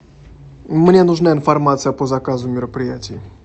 мне нужна информация по заказу мероприятий